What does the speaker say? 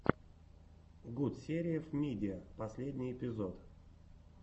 гутсериев мидиа последний эпизод